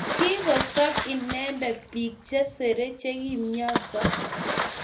Kingosob inendet biik chesere chegimnyansot